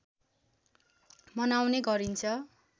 मनाउने गरिन्छ